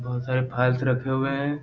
बहुत सारे फाइल्स रखे हुए हैं।